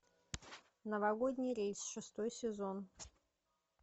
новогодний рейс шестой сезон